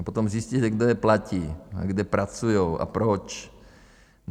A potom zjistí, že kdo je platí a kde pracujou a proč.